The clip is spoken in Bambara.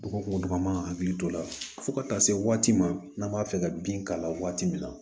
Dɔgɔkun dɔgɔ man ka hakili to o la fo ka taa se waati ma n'an b'a fɛ ka bin k'a la waati min na